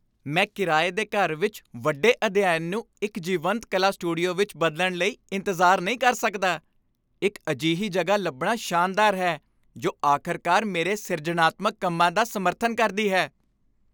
ਮੈਂ ਕਿਰਾਏ ਦੇ ਘਰ ਵਿੱਚ ਵੱਡੇ ਅਧਿਐਨ ਨੂੰ ਇੱਕ ਜੀਵੰਤ ਕਲਾ ਸਟੂਡੀਓ ਵਿੱਚ ਬਦਲਣ ਲਈ ਇੰਤਜ਼ਾਰ ਨਹੀਂ ਕਰ ਸਕਦਾ। ਇੱਕ ਅਜਿਹੀ ਜਗ੍ਹਾ ਲੱਭਣਾ ਸ਼ਾਨਦਾਰ ਹੈ ਜੋ ਆਖ਼ਰਕਾਰ ਮੇਰੇ ਸਿਰਜਣਾਤਮਕ ਕੰਮਾਂ ਦਾ ਸਮਰਥਨ ਕਰਦੀ ਹੈ।